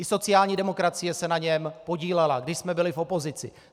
I sociální demokracie se na něm podílela, když jsme byli v opozici.